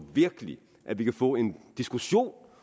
virkelig at vi kan få en diskussion